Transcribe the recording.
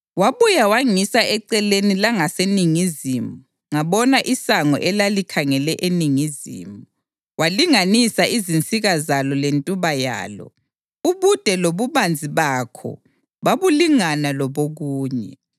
Wabuya wangisa eceleni langaseningizimu ngabona isango elalikhangele eningizimu. Walinganisa izinsika zalo lentuba yalo, ubude lobubanzi bakho babulingana lobokunye.